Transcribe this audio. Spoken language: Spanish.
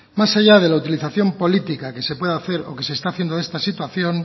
más allá de la utilización políticas que se pueda hacer o que se está haciendo de esta situación